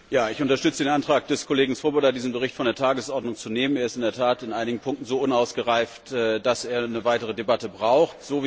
Herr Präsident! Ich unterstütze den Antrag des Kollegen Swoboda, diesen Bericht von der Tagesordnung zu nehmen. Er ist in der Tat in einigen Punkten so unausgereift, dass er eine weitere Debatte braucht.